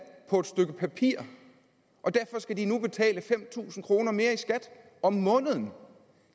på et stykke papir og derfor skal de nu betale fem tusind kroner mere i skat om måneden